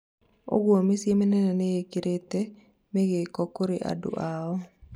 ũguo mĩciĩ mĩnene mĩingĩ niĩkĩrĩte mĩgĩko kũrĩ andũ ao